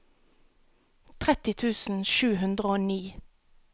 tretti tusen sju hundre og ni